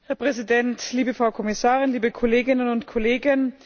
Herr Präsident, liebe Frau Kommissarin, liebe Kolleginnen und Kollegen!